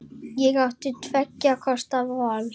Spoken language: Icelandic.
Ég átti tveggja kosta völ.